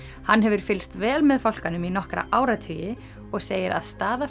hann hefur fylgst vel með fálkanum í nokkra áratugi og segir að staða